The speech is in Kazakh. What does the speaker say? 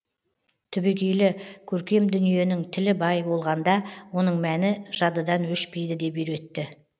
түбегейлі көркем дүниенің тілі бай болғанда оның мәні жадыдан өшпейді деп үйретті